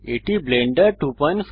এটি ব্লেন্ডার 259